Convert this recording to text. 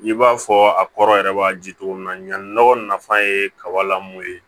I b'a fɔ a kɔrɔ yɛrɛ b'a ji cogo min na ɲanni nɔgɔ nafan ye kabalamu ye